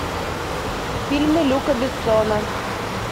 фильмы люка бессона